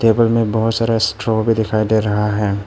Table में बहुत सारा स्ट्रॉ भी दिखाई दे रहा है।